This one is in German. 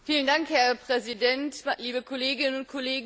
Herr Präsident, liebe Kolleginnen und Kollegen!